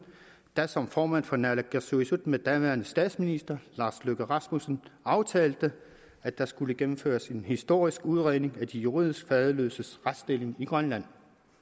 da som formand for naalakkersuisut med daværende statsminister lars løkke rasmussen aftalte at der skulle gennemføres en historisk udredning af de juridisk faderløses retsstilling i grønland